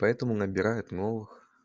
поэтому набирают новых